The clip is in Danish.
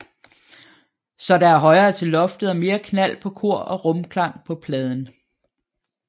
Så der er højere til loftet og mere knald på kor og rumklang på pladen